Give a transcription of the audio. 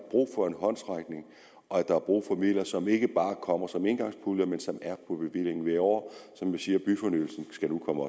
brug for en håndsrækning og at der er brug for midler som ikke bare kommer som engangspuljer men som er på bevillingen hvert år som vi siger byfornyelsen skal nu komme